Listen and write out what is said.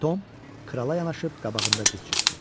Tom krala yanaşıb qabağında diz çökdü.